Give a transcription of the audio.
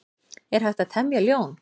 Er hægt að temja ljón?